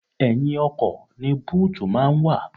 Ẹ̀yìn ọkọ̀ ni búùtù máa ń wà.